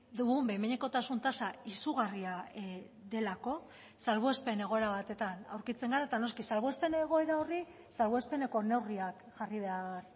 dugun behin behinekotasun tasa izugarria delako salbuespen egoera batetan aurkitzen gara eta noski salbuespen egoera horri salbuespeneko neurriak jarri behar